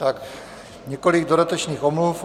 Tak několik dodatečných omluv.